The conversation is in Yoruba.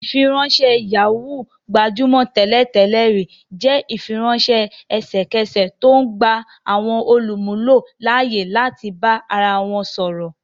Ìfiránṣẹ́ Yahoo, gbajúmọ̀ tẹ́lẹ̀ tẹ́lẹ̀ rí, jẹ́ ìfiránṣẹ́ ẹsẹ̀kẹsẹ̀ tó ń gba àwọn olùmúlò láyè láti bá ara wọn sọ̀rọ̀